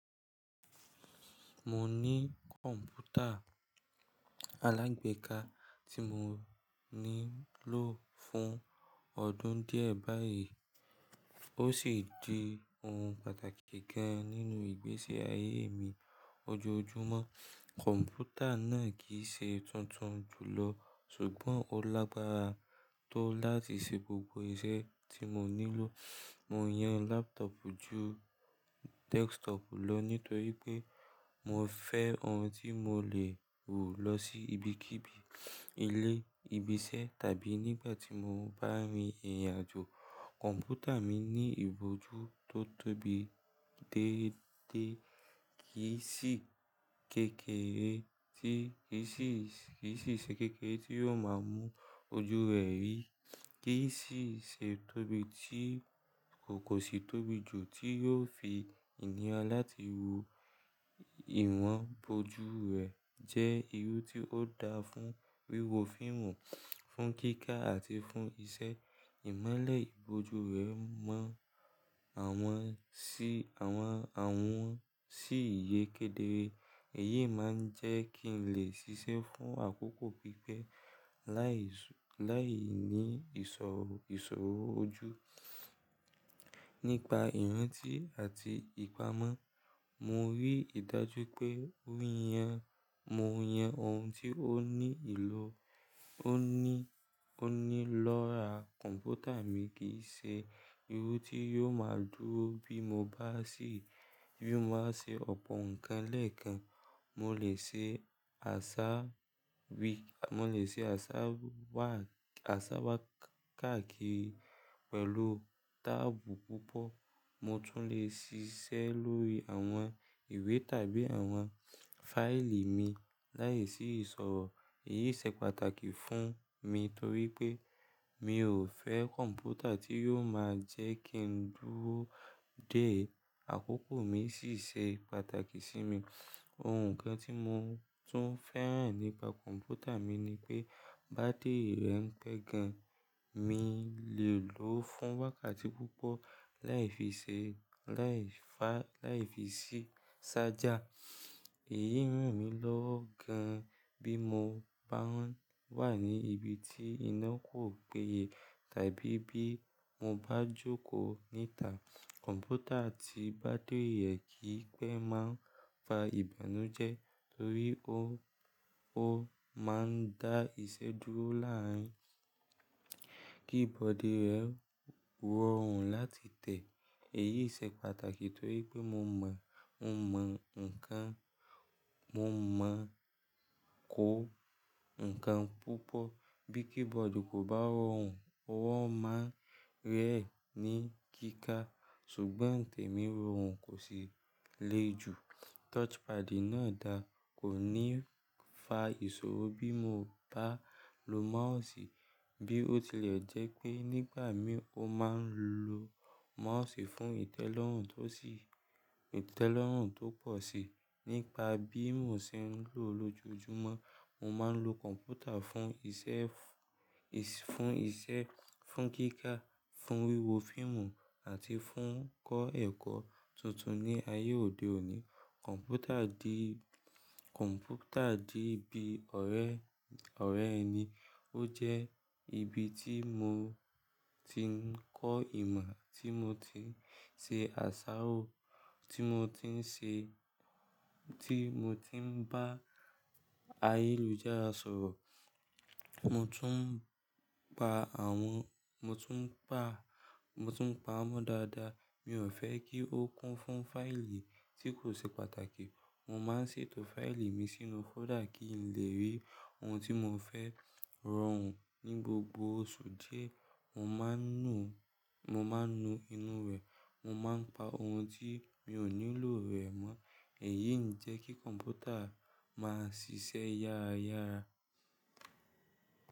Mo ní kọ̀ǹpútà alágbèéká tí mo ní lọ́ fún ọdún díẹ̀ báyìí, ó sì di ohun pàtàkì gan nínú ìgbésí ayé mi ojoojúmọ́. Kọ̀ǹpútà náà kì í ṣe tuntun jùlọ ṣùgbọ́n ó lágbára tó láti ṣe gbogbo iṣẹ́ tí mo nílò. Mo yan laptop ju desktop lọ nítorí pé mo fẹ́ ohun tí mo lè wù lọ sí ibikíbi, ilé, ibi iṣẹ́ tàbí nígbà tí mo bá rìn ìrìnàjò. Kọ̀ǹpútà mi ní ibojú tó tóbi déédéé kì í si kekere tí kì í si, kì í sì ṣe kekere tí yóò máa mú ojú rẹ̀ rí, kì í sì ṣe tóbi tí kò kò sì tóbi jù tí yóò fi ìníra láti wo. Ìwọ̀n ibojú rẹ̀ jẹ́ irú tí ó dáa fún wíwo fíìmù, fún kíkà àti fún iṣẹ́. Ìmọ́lẹ̀ ibojú rẹ̀ mọ́ àwọn sí àwọn, àwọn sí ìyẹ́kèdè ẹyii máa ń jẹ́ kí n lè ṣiṣẹ́ fún àkókò pípẹ́ láì ṣú, láì ní ìṣòro, ìṣòro ojú. Nípa ìrántí àti ìpamọ́, mo rí i dájú pé mo yan, mo yan ohun tí ó ní ìlò, ó ní, ó ní lọ́ra. Kọ̀ǹpútà mi kì í ṣe irú tí yóò máa dúró bí mo bá sì, bí mo bá ṣe ọ̀pọ̀ nǹkan lẹ́ẹ̀kan. Mo lè ṣe àṣà wí, mo lè ṣe àṣà wá, àṣà wá káàkiri pẹ̀lú táàbù púpọ̀. Mo tún lè ṣiṣẹ́ lórí àwọn ìwé tàbí àwọn fáìlì mi láìsí ìṣòro. Èyí ṣe pàtàkì fún mi torí pé mi ò fẹ́ kọ̀ǹpútà tí yóò máa jẹ́ kí n dúró dé. Àkókò mi sì ṣe pàtàkì sí mi. Ohun kan tí mo tún fẹ́ràn nípa kọ̀ǹpútà mi ni pé bátìrì rẹ̀ pẹ́ gan. Mi lè lò ó fún wákàtí púpọ̀ láì fi ṣe, láì fá, láì fi ṣí ṣájà. Èyí ràn mí lọ́wọ́ gan bí mo bá ń wà ní ibi tí iná kò péye tàbí bí mo bá jókòó níta. Kọ̀ǹpútà ti bátìrì rẹ̀ kì í pẹ́ máa ń fa ìbànújẹ́ torí ó, ó máa ń dá iṣẹ́ dúró láàárín kí bọ́dìì rẹ rọrùn láti tẹ̀. Èyí ṣe pàtàkì torí pé mo mọ̀, mo mọ̀ nǹkan, mo mọ̀ kó nǹkan púpọ̀. Bí keyboard kò bá rọrùn, ó máa ń rẹ̀ ní kíkà ṣùgbọ́n tèmí rọrùn kò sì le jù. Touchpad náà dáa kò ní fa ìṣòro bí mo bá lo mouse bí ó tilẹ̀ jẹ́ pé nígbà mìí mo máa ń lo mouse fún ìtẹ́lọ́rùn tó sì, ìtẹ́lọ́rùn tó pọ̀ sí i. Nípa bí mo ṣe ń lò ó lójojúmọ́, mo máa ń lo kọ̀ǹpútà fún iṣẹ́ fún, fún iṣẹ́, fún kíkà, fún wíwo fíìmù àti fún kọ́ ẹ̀kọ́ tuntun. Ni ayé òde òní, kọ̀ǹpútà di, kọ̀ǹpútà di bí ọ̀rẹ́, ọ̀rẹ́ ẹni. Ó jẹ́ ibi tí mo ti ń kọ́ ìmọ̀, tí mo ti ń ṣe àṣárò, tí mo ti ń ṣe, tí mo ti ń bá ayélujára sọ̀rọ̀. Mo tún ń pa àwọn, mo tún ń pa, mo tún ń pa wọ́n dáadáa. Mi ò fẹ́ kí ó kún fún fáìlì tí kò ṣe pàtàkì. Mo máa ń ṣètò fáìlì mi sínú fóldà kí n lè rí ohun tí mo fẹ́ rọrùn. Ni gbogbo oṣù díẹ̀, mo máa ń nu, mo máa ń nu inú rẹ̀. Mo máa ń pa ohun tí mi ò nílò rẹ̀ mọ́. Èyí ń jẹ́ kí kọ̀ǹpútà máa ṣiṣẹ́ yára yára.